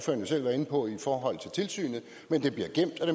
jo selv været inde på i forhold til tilsynet men det bliver gemt og